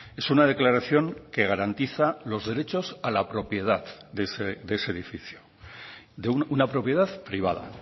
es una declaración que garantiza los derechos a la propiedad de ese edificio de una propiedad privada